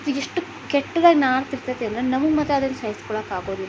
ಇದಿಷ್ಟು ಕೆಟ್ಟದಾಗಿ ನಾರ್ತಿತೈತೆ ಅಂದ್ರೆ ನಮಗೆ ಮಾತ್ರ ಅದನ್ನ ಸಹಿಸ್ಕೊಳ್ಳಕೆ ಆಗೋದಿಲ್ಲ.